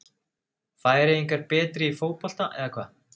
Færeyingar betri í fótbolta hvað?